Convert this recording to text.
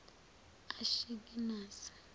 ashikenazi